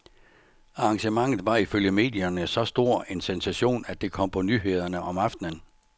Arrangementet var ifølge medierne så stor en sensation, at det kom på nyhederne om aftenen.